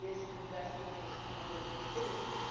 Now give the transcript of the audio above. in the best interests of European citizens.